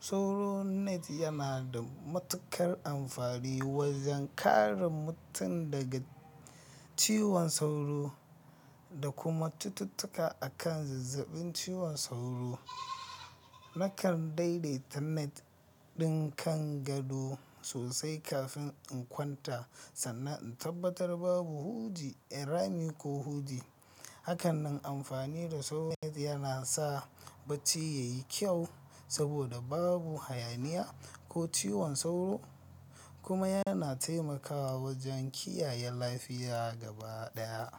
Sauro net yana da matuƙar amfani wajen kare mutum daga ciwon sauro da kuma cututtuka akan zazzabin ciwon sauro. Nakan daidaita net ɗin kan gado sosai kafin in kwanta sannan in tabbatar babu huji, rami ko huji. Hakanan amfani da sauro net yana sa bacci ya yi kyau saboda babu hayaniya ko ciwon sauro kuma yana taimakawa wajen kiyaye lafiya gaba ɗaya.